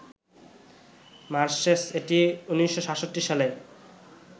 marshes এটি ১৯৬৭ সালে